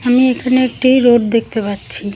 আমি এখানে একটি রোড দেখতে পাচ্ছি।